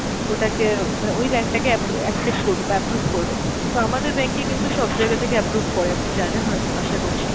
ওটাকে মানে ওই bank টা কে আপ্রু access করবে বা approve করবে, কিন্তু আমাদের bank এ কিন্তু সব জায়গা থেকে approve করে আপনি জানেন হয়তো আশা করছি